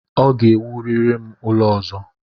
Ọ ga-ewurịrị m ụlọ ọzọ!